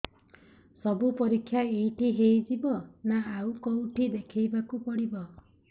ସବୁ ପରୀକ୍ଷା ଏଇଠି ହେଇଯିବ ନା ଆଉ କଉଠି ଦେଖେଇ ବାକୁ ପଡ଼ିବ